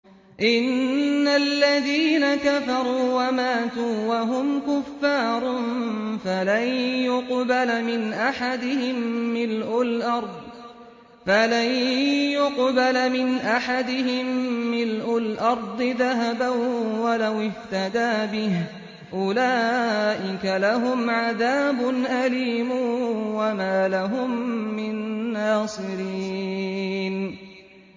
إِنَّ الَّذِينَ كَفَرُوا وَمَاتُوا وَهُمْ كُفَّارٌ فَلَن يُقْبَلَ مِنْ أَحَدِهِم مِّلْءُ الْأَرْضِ ذَهَبًا وَلَوِ افْتَدَىٰ بِهِ ۗ أُولَٰئِكَ لَهُمْ عَذَابٌ أَلِيمٌ وَمَا لَهُم مِّن نَّاصِرِينَ